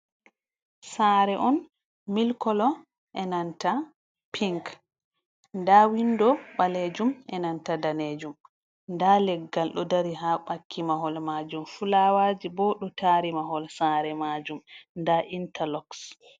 Sare on milk kolo enanta pink nda windo balejum enanta danejum nda leggal ɗo dari ha baƙki mahol majum, fulawaji bo ɗo tari mahol sare majum da interlox.